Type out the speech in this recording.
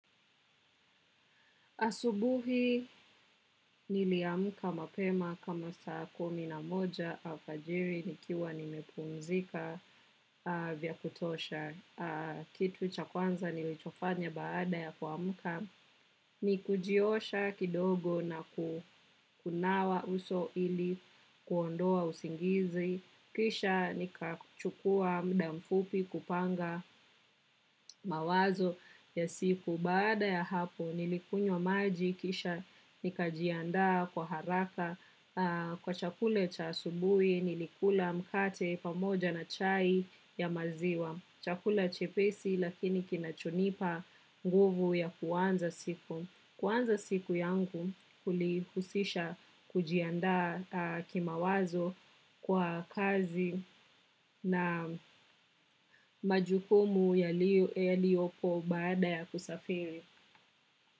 Asubuhi niliamka mapema kama saa kumi na moja alfajiri nikiwa nimepumzika vya kutosha kitu cha kwanza nilichofanya baada ya kuamka. Ni kujiosha kidogo na kunawa uso ili kuondoa usingizi. Kisha nikachukua muda mfupi kupanga mawazo ya siku. Baada ya hapo nilikunywa maji kisha nikajianda kwa haraka kwa chakula cha asubuhi nilikula mkate pamoja na chai ya maziwa. Chakula chepesi lakini kinachonipa nguvu ya kuanza siku. Kuanza siku yangu kulihusisha kujianda kimawazo kwa kazi na majukumu yaliyoko baada ya kusafiri.